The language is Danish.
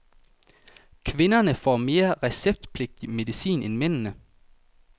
Kvinderne får mere receptpligtig medicin end mændene.